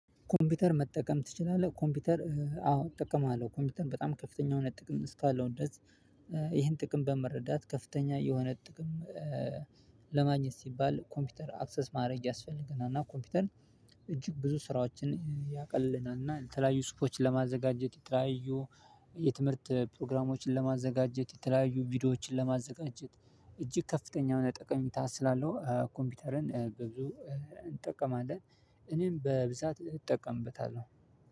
ኮምፒውተር መጠቀም ትችላለህ? ኮምፒውተር አዎ እጠቀማለሁ ኮምፒውተር በጣም ከፍተኛ የሆነ ጥቅም እስካለው ድረስ። ይሄን ጥቅም በመረዳት ከፍተኛ የሆነ ጥቅም። ለማግኘት ሲባል ኮምፒውተር አክሰስ ማድረግ ያስፈልገናል። ኮምፒውተር እጅግ ብዙ ስራዎችን ያቀልልናል እና ለተለያዩ ጽሁፎችን ለማዘጋጀት የተለያዩ የትምህርት ፕሮግራሞችን ለማዘጋጀት የተለያዩ ቪዲዮዎችን ለማዘጋጀት እጅግ ከፍተኛ የሆነ ጠቀሚታ ስላለው ኮምፒውተርን ብዙ እንጠቀማለን። እኔም በብዛት እጠቀምበታለሁ